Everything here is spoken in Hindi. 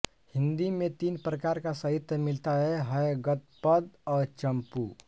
हिन्दी में तीन प्रकार का साहित्य मिलता हैगद्यपद्य और चम्पू